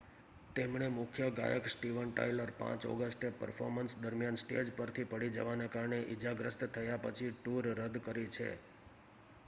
તેમણે મુખ્ય ગાયક સ્ટીવન ટાયલર 5 ઑગસ્ટે પર્ફોર્મન્સ દરમિયાન સ્ટેજ પરથી પડી જવાને કારણે ઈજાગ્રસ્ત થયા પછી ટૂર રદ કરી છે